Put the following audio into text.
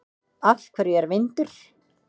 Af hverju er vindur?